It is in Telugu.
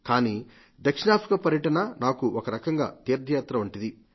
కానీ దక్షిణాఫ్రికా పర్యటన నాకు ఒకరకంగా తీర్థయాత్ర వంటిది